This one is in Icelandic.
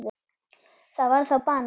Það var þá banani.